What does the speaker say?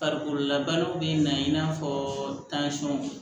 Farikololabaaraw bɛ na i n'a fɔ